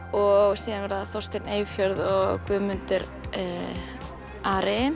og síðan verða Þorsteinn Eyfjörð og Guðmundur Ari